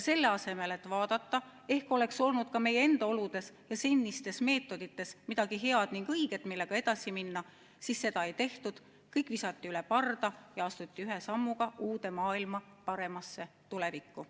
Selle asemel et vaadata, ehk oleks olnud ka meie enda oludes ja senistes meetodites midagi head ja õiget, millega edasi minna, visati kõik üle parda ja astuti ühe sammuga uude maailma, paremasse tulevikku.